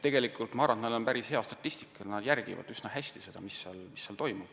Ma arvan, et nad on päris head statistikud, nad järgivad seda, mis toimub, üsna hästi.